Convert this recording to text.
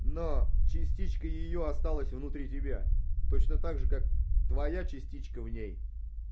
но частичка её осталась внутри тебя точно так же как твоя частичка в ней